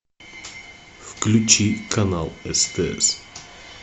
включи канал стс